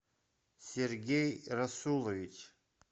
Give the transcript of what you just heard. сергей расулович